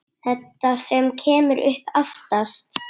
Þetta sem kemur upp aftast.